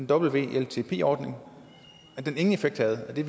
wltp ordningen ingen effekt havde og det